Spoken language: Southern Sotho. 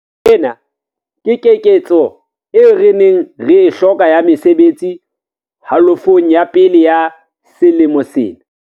Ena ke keketseho eo re neng re e hloka ya mesebetsi halofong ya pele ya selemo sena.